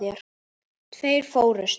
Tveir fórust.